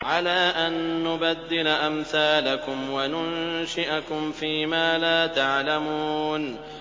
عَلَىٰ أَن نُّبَدِّلَ أَمْثَالَكُمْ وَنُنشِئَكُمْ فِي مَا لَا تَعْلَمُونَ